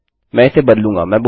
मैं इसे बदलूँगा